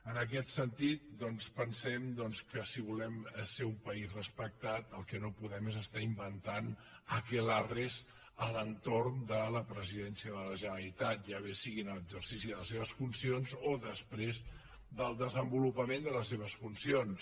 en aquest sentit doncs pensem que si volem ser un país respectat el que no podem és estar inventant akelarresralitat ja bé sigui en exercici de les seves funcions o després del desenvolupament de les seves funcions